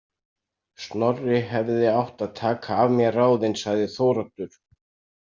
Snorri hefði átt að taka af mér ráðin, sagði Þóroddur.